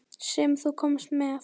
Sem þú komst með.